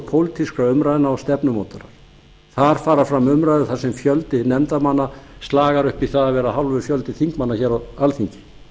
pólitískra umræðna dag stefnumótunar þar fara fram umræður þar sem fjöldi nefndarmanna slagar upp í að vera hálfur fjöldi þingmanna hér á alþingi